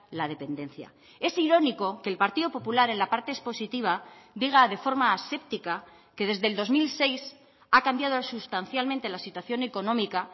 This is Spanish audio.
la dependencia es irónico que el partido popular en la parte expositiva diga de forma aséptica que desde el dos mil seis ha cambiado sustancialmente la situación económica